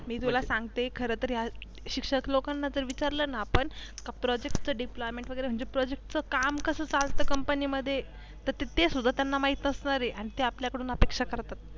मी तुला सांगते खर तर या शिक्षक लोकांना जर विचारल ना आपण हा प्रोजेक्टच deployment वेगेरे म्हनजे प्रोजेक्ट च काम कस चालते कंपणी मध्ये ते सुद्धा यांना महित नसणार आहे आणि ते आपल्याडून अपेक्षा करतात.